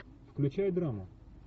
включай драму